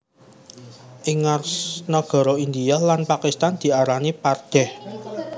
Ing nagara India lan Pakistan diarani pardeh